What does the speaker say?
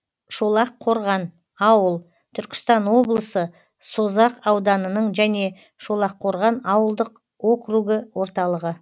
шолаққорған ауыл түркістан облысы созақ ауданының және шолаққорған ауылдық округі орталығы